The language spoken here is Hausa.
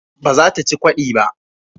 Ba za ta ci ƙodi ba